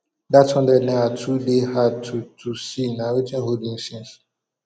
dat hundred naira too dey hard to to see na wetin hold me since